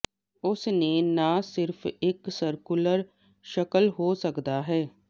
ਉਸ ਨੇ ਨਾ ਸਿਰਫ ਇੱਕ ਸਰਕੂਲਰ ਸ਼ਕਲ ਹੋ ਸਕਦਾ ਹੈ